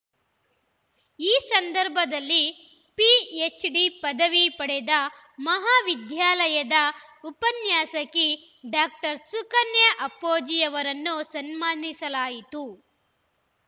ಈ ಸಂದರ್ಭದಲ್ಲಿ P H D ಪದವಿ ಪಡೆದ ಮಹಾವಿದ್ಯಾಲಯದ ಉಪನ್ಯಾಸಕಿ ಡಾಕ್ಟರ್ ಸುಕನ್ಯಾ ಅಪ್ಪೊಜಿಯವರನ್ನು ಸನ್ಮಾನಿಸಲಾಯಿತು